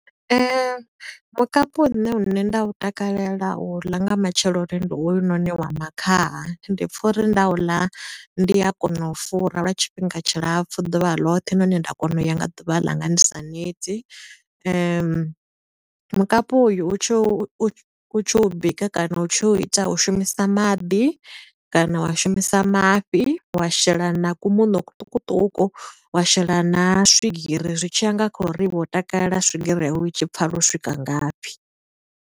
Mukapu une nṋe nda u takalela u ḽa nga matsheloni ndi hoyunoni wa makhaha. Ndi pfa uri nda u ḽa ndi a kona u fura lwa tshifhinga tshilapfu ḓuvha ḽoṱhe, nahone nda kona u ya nga ḓuvha ḽanga ndi sa neti. Mukapu uyo u tshi u u, u tshi u bika kana u tshi ita u shumisa maḓi, kana wa shumisa mafhi, wa shela na ku muṋo kuṱukuṱuku, wa shela na swigiri zwi tshiya nga kha uri iwe u takalela swigiri yawu u tshi pfala u swika ngafhi.